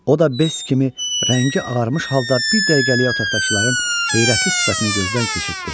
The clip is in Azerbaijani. O da bes kimi rəngi ağarmış halda bir dəqiqəliyə otaqdakıların heyrətli sifətini gözdən keçirtdi.